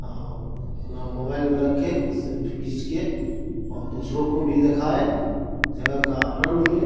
और अपना मोबाइल में रखे सेल्फी खिंच के और दूसरों को भी दिखाए जगह का आनंद ले |